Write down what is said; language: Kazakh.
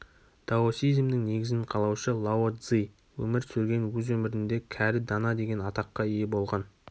даосизмнің негізін қалаушы лао-цзы өмір сүрген өз өмірінде кәрі данадеген атаққа ие болған